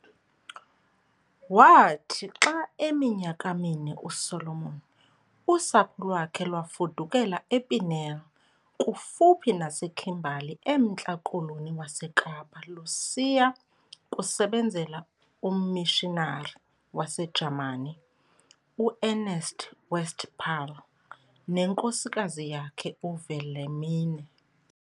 Waathi xa eminyaka mine uSolomon, usapho lwakhe lwafudukela ePniel kufuphi naseKimberly emNtla Koloni waseKapa lusiya kusebenzela ummishinari waseJamani, uErnst Westphal, nenkosikazi yakhe uWilhelmine.